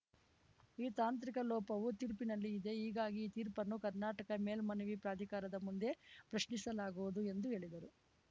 ಈ ತಾಂತ್ರಿಕ ಲೋಪವು ತೀರ್ಪಿನಲ್ಲಿ ಇದೆ ಹೀಗಾಗಿ ಈ ತೀರ್ಪನ್ನು ಕರ್ನಾಟಕ ಮೇಲ್ಮನವಿ ಪ್ರಾಧಿಕಾರದ ಮುಂದೆ ಪ್ರಶ್ನಿಸಲಾಗುವುದು ಎಂದು ಹೇಳಿದರು